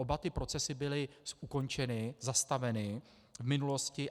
Oba ty procesy byly ukončeny, zastaveny v minulosti.